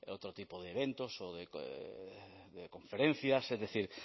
otro tipo de eventos o de conferencias es decir